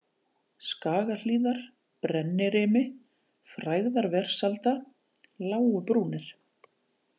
Skagahlíðar, Brennirimi, Frægðarversalda, Lágubrúnir